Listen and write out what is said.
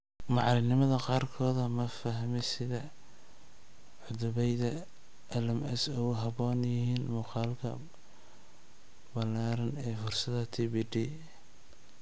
Macallimiinta qaarkood ma fahmin sida cutubyada LMS ugu habboon yihiin muuqaalka ballaaran ee fursadaha TPD.